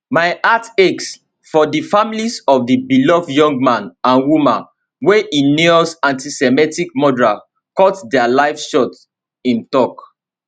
my heart aches for di families of di beloved young man and woman wey heinous antisemitic murderer cut dia lives short im tok